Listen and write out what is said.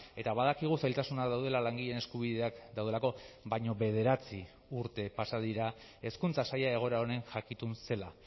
eta badakigu zailtasunak daudela langileen eskubideak daudelako baina bederatzi urte pasa dira hezkuntza saila egoera honen jakitun zela